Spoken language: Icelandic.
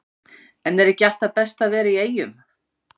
En er ekki alltaf best að vera í Eyjum?